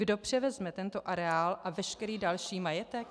Kdo převezme tento areál a veškerý další majetek?